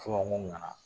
Fɔ n nana